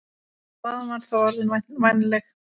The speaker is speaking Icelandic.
Staðan var þá orðin vænleg.